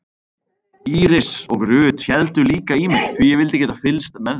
Íris og Ruth héldu líka í mig því ég vildi geta fylgst með þeim.